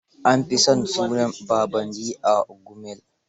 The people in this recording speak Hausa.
An fi sa sunan Babandi a Gumel.